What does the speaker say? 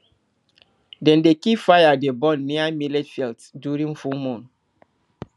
dem dey keep fire dey burn near millet fields during full moon